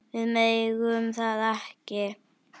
Við megum það ekki.